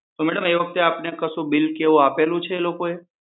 તો મેડમ એ વખતે આપને કઈ બીલ કે એવું કઈ આપેલું છે એ લોકો એ?